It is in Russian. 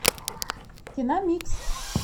киномикс